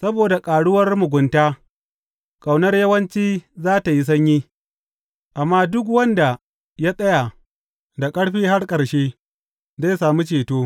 Saboda ƙaruwar mugunta, ƙaunar yawanci za tă yi sanyi, amma duk wanda ya tsaya da ƙarfi har ƙarshe, zai sami ceto.